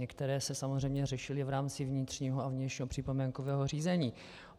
Některé se samozřejmě řešily v rámci vnitřního a vnějšího připomínkového řízení.